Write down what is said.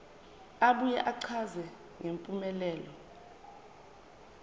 abuye achaze ngempumelelo